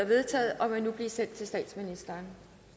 vedtaget og vil nu blive sendt til statsministeren